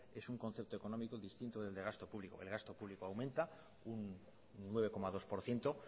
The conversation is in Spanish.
es un concepto económico indistinto del gasto público el gasto público aumenta un nueve coma dos por ciento